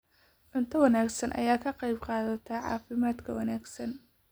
Cunto wanaagsan ayaa ka qayb qaadata caafimaadka wanaagsan.